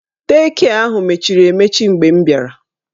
Dei kịe ahụ mechiri emechi mgbe m bịara